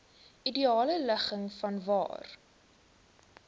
ideale ligging vanwaar